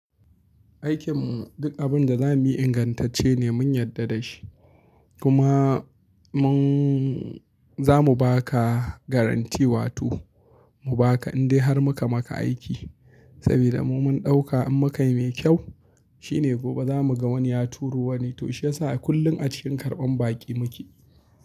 Aikin mu duk abin da za mu yi ingantacce ne mun yarda da shi. Kuma mun za mu ba ka garantii wato mu ba ka indai har muka maka aiki. Sabida mu mun ɗauka in muka yi mai kyau shi ne gobe za mu ga wani ya turo wani. To shiyasa kullum a cikin karɓan baƙi muke.